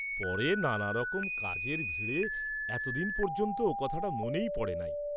পরে নানারকম কাজের ভিড়ে এতদিন পর্য্যন্ত ও কথাটা মনেই পড়ে নাই।